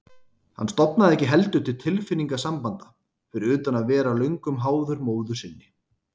Hann stofnaði ekki heldur til tilfinningasambanda, fyrir utan að vera löngum háður móður sinni.